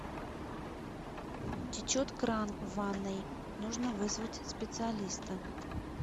течет кран в ванной нужно вызвать специалиста